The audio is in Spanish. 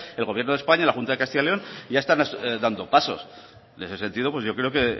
el gobierno de españa la junta de castilla y león ya están dando pasos en ese sentido yo creo que